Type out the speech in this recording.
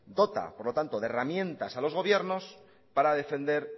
dota por tanto de herramientas a los gobiernos para defender